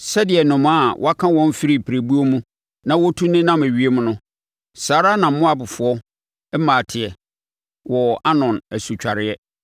Sɛdeɛ nnomaa a wɔaka wɔn afiri pirebuo mu na wɔtu nenam ewiem no, saa ara na Moabfoɔ mmaa teɛ wɔ Arnon asutwareɛ.